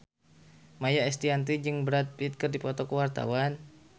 Maia Estianty jeung Brad Pitt keur dipoto ku wartawan